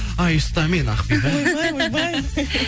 ай ұста мені ақбибі ойбай ойбай